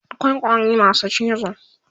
akwai ƙwari masu cizo